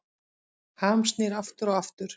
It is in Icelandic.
Ham snýr aftur og aftur